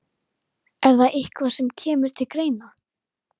Er það eitthvað sem kemur til greina?